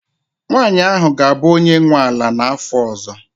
nwanyị ahụ ga-abụ onye nwe ala n'afọ ọzọ